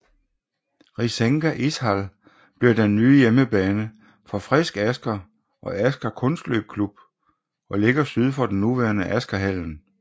Risenga Ishall bliver den nye hjemmebane for Frisk Asker og Asker Kunstløpklubb og ligger syd for den nuværende Askerhallen